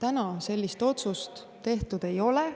Seni sellist otsust tehtud ei ole.